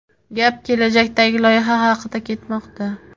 gap kelajakdagi loyiha haqida ketmoqda.